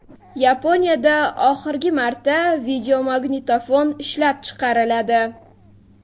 Yaponiyada oxirgi marta videomagnitofon ishlab chiqariladi .